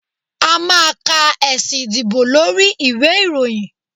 a ma ka esí ìdíbò lorí ìwé iroyín